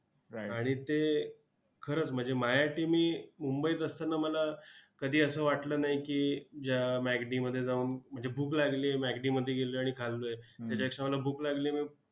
आणि ते खरंच म्हणजे माझ्यासाठी मी मुंबईत असताना मला कधी असं वाटलं नाही की ज्या macd मध्ये जाऊन म्हणजे भूक लागली आहे macd मध्ये गेलोय आणि खाल्लोय त्याच्यापेक्षा मला भूक लागलीय मी